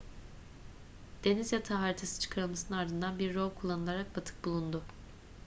deniz yatağı haritası çıkarılmasının ardından bir rov kullanılarak batık bulundu